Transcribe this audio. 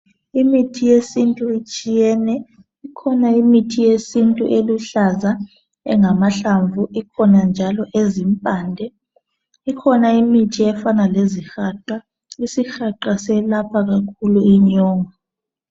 Imithi yesintu itshiyene. Ikhona imithi yesintu eluhlaza engamahlamvu. Ikhona njalo ezimpande. Ikhona imithi efana lezihaqa. Isihaqa selapha kakhulu inyongo.